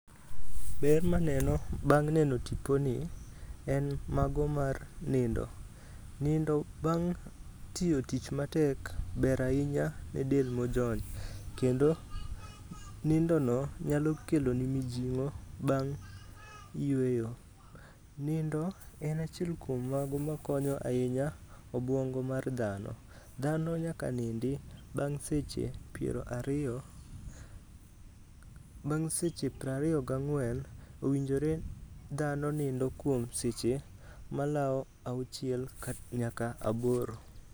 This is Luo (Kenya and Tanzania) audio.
Ber maneno bang' neno tiponi, en mago mar nindo. Nindo bang' tiyo tich matek ber ahinya ne del mojony. Kendo nindono nyalo keloni mijing'o bang' yweyo. Nindo en achiel kuom mago makonyo ahinya obwongo mar dhano. Dhano nyaka nindi bang' seche piero ariyo gi ang'wen, owinjore dhano nindo kuom seche malawo auchiel nyaka aboro.